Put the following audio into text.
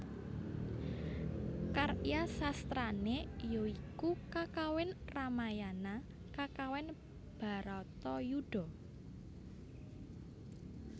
Karya sastrané ya iku kakawin Ramayana kakawin Bharata Yudha